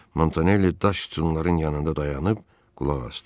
Montaneli daş sütünların yanında dayanıb qulaq asdı.